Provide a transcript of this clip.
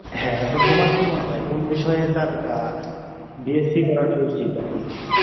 হ্যাঁ এখন তোমার কি মনে হয় কোন বিষয়ে তার আহ বিএসসি করাটা উচিত এখন